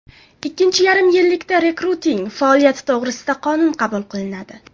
Ikkinchi yarim yillikda rekruting faoliyati to‘g‘risida qonun qabul qilinadi.